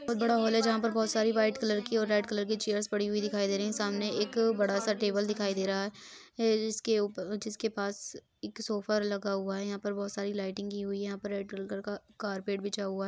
बोहोत बड़ा हॉल है जहां पर बोहोत सारी व्हाइट कलर की और रेड कलर की चेयर्स पड़ी हुई दिखाई दे रही हैं। सामने एक बड़ा सा टेबल दिखाई दे रहा है है जिसके ऊपर जिसके पास एक सोफ़ा लगा हुआ है। यहां पर बोहोत सारी लाइटिंग की हुई है। यहां पर रेड कलर का कार्पेट बिछा हुआ है।